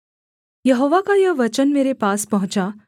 यहोवा का यह वचन मेरे पास पहुँचा